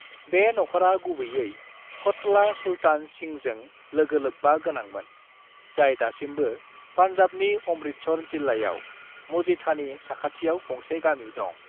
"बे नखरा गुबैयै क'टला सुल्तान सिंहजों लोगोलोब्बा गोनांमोन, जाय दासिमबो पान्जाबनि अमृतसर जिल्लायाव मजीठानि साखाथियाव गंसे गामि दं।"